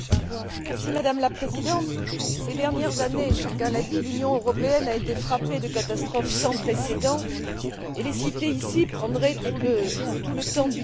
Madame la Présidente, ces dernières années chacun l'a dit l'Union européenne a été frappée par des catastrophes sans précédent et les citer ici prendrait tout le temps du débat.